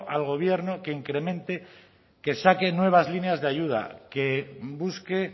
al gobierno que incremente que saque nuevas líneas de ayuda que busque